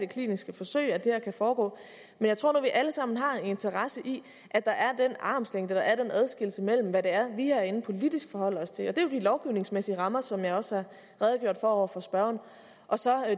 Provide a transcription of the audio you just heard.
kliniske forsøg at det her kan foregå men jeg tror nu at vi alle sammen har en interesse i at der er den armslængde at der er den adskillelse mellem hvad vi herinde politisk forholder os til og det er jo de lovgivningsmæssige rammer som jeg også har redegjort for over for spørgeren og så